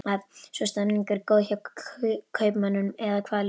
Svo stemningin er góð hjá kaupmönnum eða hvað Lillý?